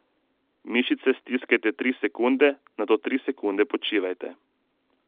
Mišice stiskajte tri sekunde, nato tri sekunde počivajte.